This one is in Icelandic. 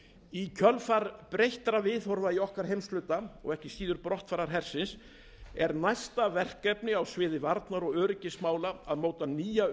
í kjölfar breyttra viðhorfa í okkar heimshluta og ekki síður brottfarar hersins er næsta verkefni á sviði varnar og öryggismála að móta nýja